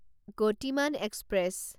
Gatimaan express